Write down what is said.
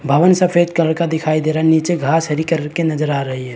भवन सफ़ेद कलर का दिखाई दे रहा हैं नीचे घाँस हरी कलर के नज़र आ रही है।